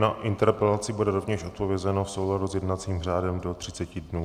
Na interpelaci bude rovněž odpovězeno v souladu s jednacím řádem do 30 dnů.